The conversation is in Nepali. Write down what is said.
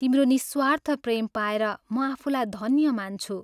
तिम्रो निःस्वार्थ प्रेम पाएर म आफूलाई धन्य मान्छु।